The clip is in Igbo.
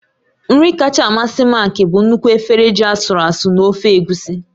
Nri kacha amasị Mark bụ nnukwu efere ji asụru asụ́ na ofe egusi.